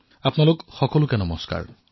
আপোনালোক সকলোকে নমস্কাৰ